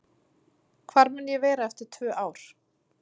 Hvar mun ég vera eftir tvö ár?